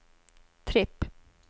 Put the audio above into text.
tripp